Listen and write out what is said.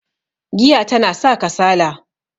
giya tana sa kasala